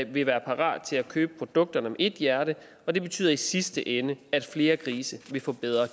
vil være parate til at købe produkter med ét hjerte og det betyder i sidste ende at flere grise vil få bedre